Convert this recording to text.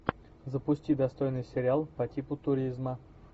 запусти достойный сериал по типу туризма